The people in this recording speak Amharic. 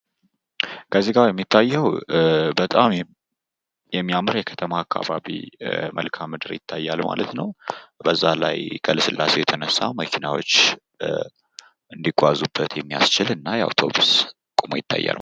ከዚህ ጋር የሚታየው በጣም የሚያምር የከተማ አካባቢ መልካም ምድር ማለት ነው። በዛ ላይ ከልላሴ የተነሳ መኪናዎች እንዲጓዙበት የሚያስችል አውቶብስ ቆመው ይታያል።